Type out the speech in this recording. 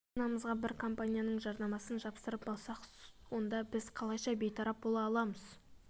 машинамызға бір компанияның жарнамасын жапсырып алсақ онда біз қалайша бейтарап бола аламыз